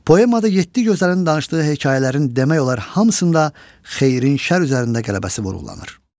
Poemada yeddi gözəlin danışdığı hekayələrin demək olar hamısında xeyrin şər üzərində qələbəsi vurğulanır.